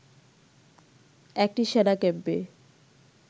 একটি সেনা ক্যাম্পে